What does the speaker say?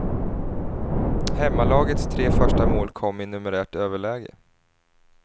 Hemmalagets tre första mål kom i numerärt överläge.